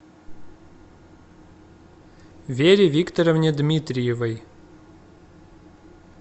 вере викторовне дмитриевой